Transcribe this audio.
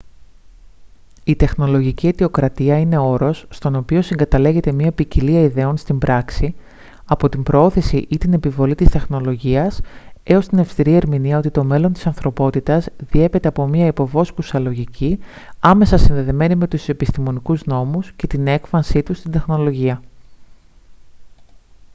η τεχνολογική αιτιοκρατία είναι όρος στον οποίο συγκαταλέγεται μια ποικιλία ιδεών στην πράξη από την προώθηση ή την επιβολή της τεχνολογίας έως την αυστηρή ερμηνεία ότι το μέλλον της ανθρωπότητας διέπεται από μια υποβόσκουσα λογική άμεσα συνδεδεμένη με τους επιστημονικούς νόμους και την έκφανσή τους στην τεχνολογία